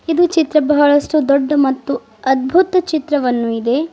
ಇದು ಚಿತ್ರ ಬಹಳಷ್ಟು ದೊಡ್ಡ ಮತ್ತು ಅದ್ಭುತ ಚಿತ್ರವನ್ನು ಇದೆ.